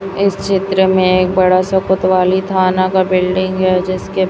इस चित्र में एक बड़ा सा कोतवाली थाना का बिल्डिंग है जिसके--